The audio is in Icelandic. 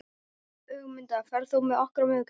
Ögmunda, ferð þú með okkur á miðvikudaginn?